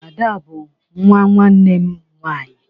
Ada bu nwa nwanne m nwanyi